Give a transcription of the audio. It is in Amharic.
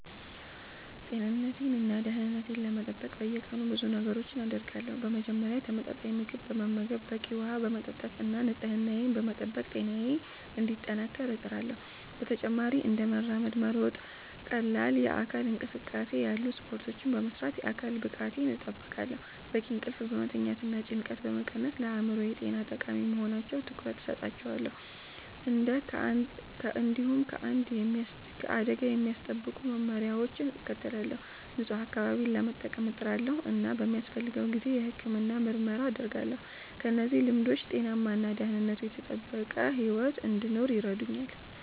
ጤንነቴን እና ደህንነቴን ለመጠበቅ በየቀኑ ብዙ ነገሮችን አደርጋለሁ። በመጀመሪያ ተመጣጣኝ ምግብ በመመገብ፣ በቂ ውሃ በመጠጣት እና ንጽህናዬን በመጠበቅ ጤናዬን እንዲጠናከር እጥራለሁ። በተጨማሪም እንደ መራመድ፣ መሮጥ ወይም ቀላል የአካል እንቅስቃሴ ያሉ ስፖርቶችን በመስራት የአካል ብቃቴን እጠብቃለሁ። በቂ እንቅልፍ መተኛትና ጭንቀትን መቀነስም ለአእምሮ ጤና ጠቃሚ በመሆናቸው ትኩረት እሰጣቸዋለሁ። እንዲሁም ከአደጋ የሚያስጠብቁ መመሪያዎችን እከተላለሁ፣ ንጹህ አካባቢ ለመጠቀም እጥራለሁ እና በሚያስፈልገው ጊዜ የሕክምና ምርመራ አደርጋለሁ። እነዚህ ልምዶች ጤናማ እና ደህንነቱ የተጠበቀ ሕይወት እንድኖር ይረዱኛል